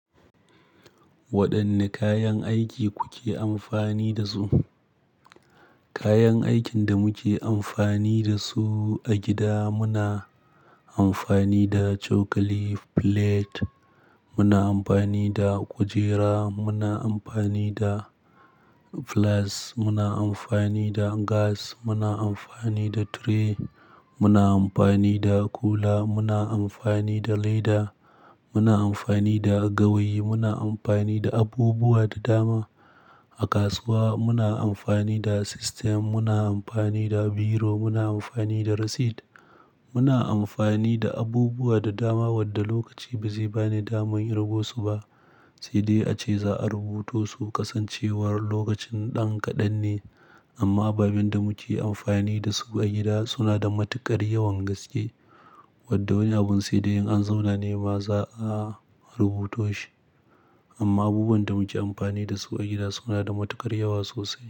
Waɗanne kayan aiki kuke amfani da su? Kayan aikin da muke amfani da su a gida, muna amfani da cokali, plate, muna amfani da kujera, muna amfani da flask, muna amfani da gas, muna amfani da tray, muna amfani da kula, muna amfani da leda, muna amfani da gawayi, muna amfani da abubuwa da dama. A kasuwa muna amfani da sistem, muna amfani da biro, muna amfani da receipt, muna amfani da abubuwa da dama wadda lokaci ba zai bani daman rubutu su ba. Sai dai ace za'a rubuto su kasancewar lokacin ɗan kaɗan ne. Amma ababen da muke amfani da su a gida suna da matuƙar yawan gaske wadda wani abun sai da in an zauna ne ma za'a rubuto shi. Amma abubuwan da muke amfani da su a gida suna da matuƙar yawa sosai.